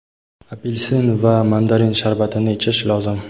Apel’sin va mandarin sharbatini ichish lozim.